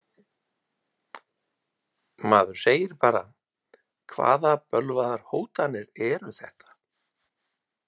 Maður segir bara: Hvaða bölvaðar hótanir eru þetta?